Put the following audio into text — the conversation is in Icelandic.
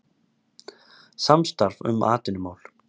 Samstarf um atvinnumál